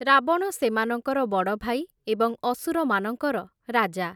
ରାବଣ ସେମାନଙ୍କର ବଡ଼ଭାଇ, ଏବଂ ଅସୁରମାନଙ୍କର ରାଜା ।